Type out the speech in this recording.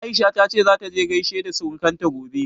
Aisha ta ce zata je ta gaishe da surukanta gobe.